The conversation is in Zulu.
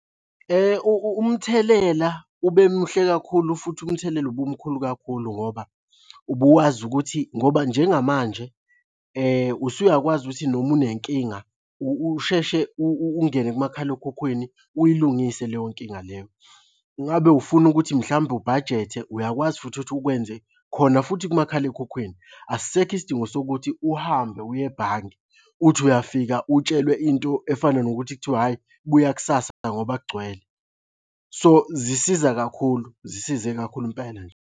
Umthelela ube muhle kakhulu futhi umthelela ubumukhulu kakhulu ngoba ubuwazi ukuthi ngoba njengamanje usuyakwazi ukuthi noma unenkinga usheshe ungene kumakhalekhukhwini uyilungise leyo nkinga leyo. Ngabe ufuna ukuthi mhlambe ubhajethe? Uyakwazi futhi ukuthi ukwenze khona futhi kumakhalekhukhwini, asisekho isidingo sokuthi uhambe uye ebhange uthi uyafika utshelwe into efana nokuthi kuthiwa hhayi buya kusasa ngoba kugcwele. So, zisiza kakhulu zisize kakhulu impela nje.